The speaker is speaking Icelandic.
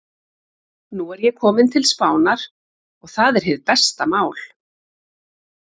Nú er ég kominn til Spánar. og það er hið besta mál.